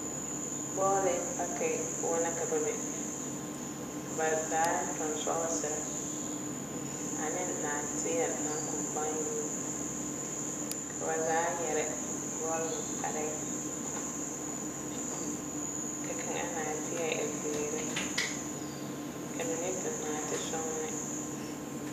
Bɔɔle paki poɔ na ka ba be ka ba zaa toŋ sɔɔsere aneŋ naateɛ naŋ koŋ baŋ yori ka ba zaa yɛre bɔl ŋmɛ kparɛɛ ka kaŋa naateɛ e zeere ka mine toŋ naatesɔŋne.